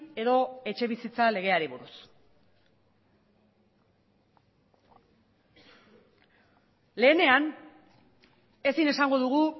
edo etxebizitza legeari buruz lehenean ezin esango dugu